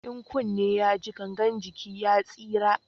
In kunne ya ji gangan jiki ya tsira